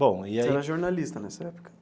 Bom e aí. Você era jornalista nessa época?